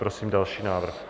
Prosím další návrh.